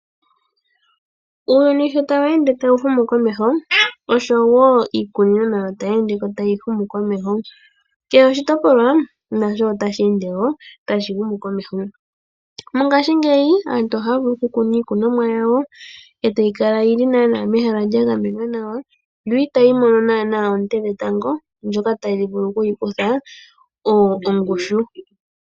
Uuyuni sho tawu ende tawu humu komeho oshowo iikunino tayi ende tayi humukomeho, kehe oshitopolwa otashi ende wo tashi humukomeho. Mongashingeyi aantu ohaya vulu okukuna iikunomwa yawo e tayi kala yi li mehala lya gamenwa nawa no itayi mono oonte dhetango ndhoka tadhi vulu okuyi kutha ongushu.